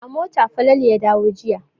A mota Falalu ya dawo jiya.